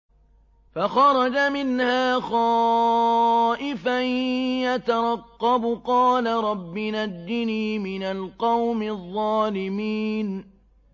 فَخَرَجَ مِنْهَا خَائِفًا يَتَرَقَّبُ ۖ قَالَ رَبِّ نَجِّنِي مِنَ الْقَوْمِ الظَّالِمِينَ